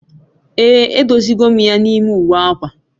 Ee, e dozi go m ya n'ime uwe akwa